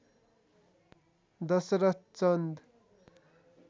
Dasharath Chand